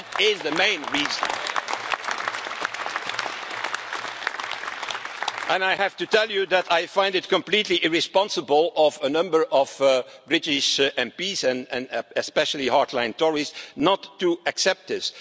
That is the main reason. And I have to tell you that I find it completely irresponsible of a number of British MPs, especially hardline Tories, not to accept this.